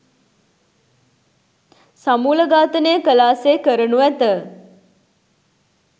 සමූල ඝාතනය කලා සේ කරනු ඇත.